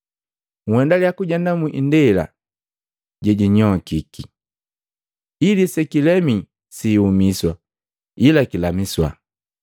Nhendalya kujenda mu indela je jinyokiki, ili sekilemii siiumiswa, ila kilamiswa.